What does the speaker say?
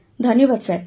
sir ଧନ୍ୟବାଦ